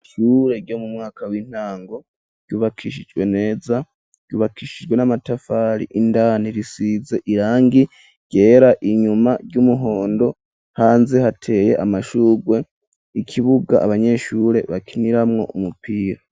Ishure ryo mu mwaka w'intango ryubakishijwe neza, ryubakishijwe n'amatafari indani risize irangi ryera inyuma ry'umuhondo hanze hateye amashugwe ikibuga abanyeshure bakiniramwo umupira.